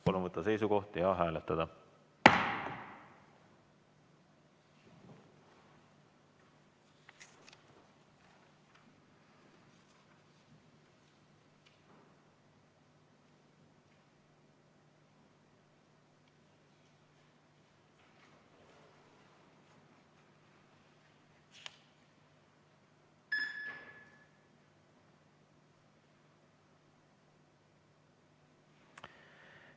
Palun võtta seisukoht ja hääletada!